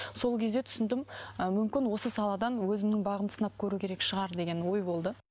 сол кезде түсіндім ы мүмкін осы саладан өзімнің бағымды сынап көру керек шығар деген ой болды